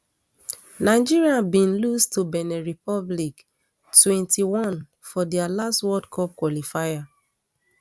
nigeria bin lose to benin republic twenty-one for dia last world cup qualifier